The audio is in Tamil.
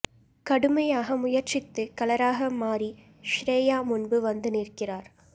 கடுமையாக முயற்சித்து கலராக மாறி ஷ்ரியா முன்பு வந்து நிற்கிறார்